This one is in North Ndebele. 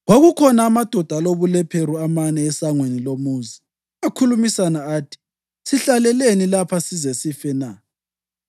Kwakukhona amadoda alobulephero amane esangweni lomuzi. Akhulumisana athi, “Sihlaleleni lapha size sife na?